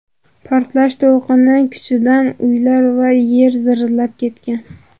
Portlash to‘lqini kuchidan uylar va yer zirillab ketgan.